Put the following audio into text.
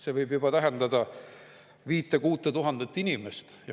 See võib tähendada juba 5000–6000 inimest.